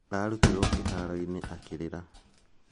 Ararutirwo kĩharo-inĩ akĩrĩra.